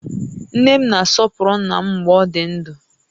Nne m na-asọpụrụ ńnà m mgbè ọ dị ndụ